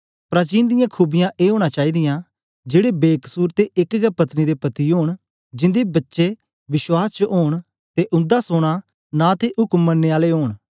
प्राचीन दियां खूबियाँ ए ओना चाईदीयाँ जेड़े बेकसुर ते एक गै पत्नी दे पति ओन जिंदे बच्चे विश्वास च ओंन ते उन्दा सोना नां ते उक्म मननें आले ओंन